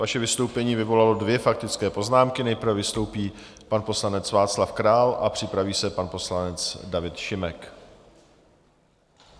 Vaše vystoupení vyvolalo dvě faktické poznámky, nejprve vystoupí pan poslanec Václav Král a připraví se pan poslanec David Šimek.